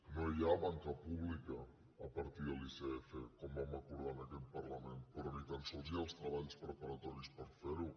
no hi ha banca pública a partir de l’icf com vam acordar en aquest parlament però ni tan sols hi ha els treballs preparatoris per fer ho